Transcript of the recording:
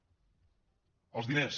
els diners